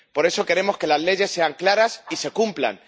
Por eso queremos que las leyes sean claras y se cumplan.